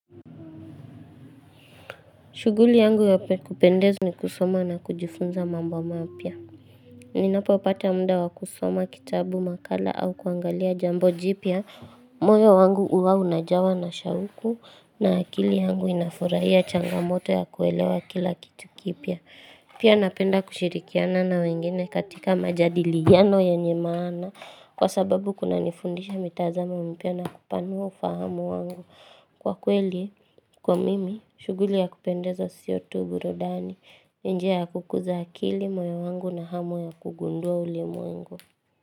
Shughuli yangu ya kupendeza ni kusoma na kujifunza mambo mapya. Ninapopata muda wa kusoma kitabu, makala au kuangalia jambo jipya. Moyo wangu huwa unajawa na shauku na akili yangu inafurahia changamoto ya kuelewa kila kitu kipya. Pia napenda kushirikiana na wengine katika majadiliano yenye maana. Kwa sababu kunanifundisha mitazamo mipya na kupanua ufahamu wangu. Kwa kweli, kwa mimi, shughuli ya kupendeza sio tu burudani, ni njia ya kukuza akili, moyo wangu na hamu ya kugundua ulimwengu.